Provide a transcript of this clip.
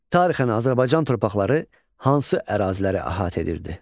Tarixən Azərbaycan torpaqları hansı əraziləri əhatə edirdi?